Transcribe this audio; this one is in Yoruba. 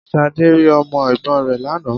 Ṣadé rí Ọmọ Ègbón rè lánàá